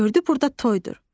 Gördü burda toydur.